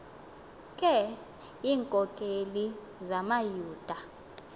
ke iinkokeli zamayuda